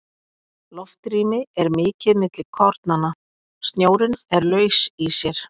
Loftrými er mikið milli kornanna, snjórinn er laus í sér.